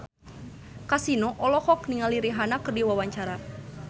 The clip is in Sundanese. Kasino olohok ningali Rihanna keur diwawancara